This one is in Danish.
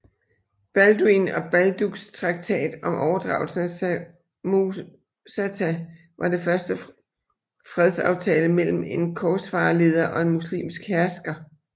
Balduin og Balduks traktat om overdragelsen af Samosata var det første fredsaftale mellem en korsfarerleder og en muslimsk hersker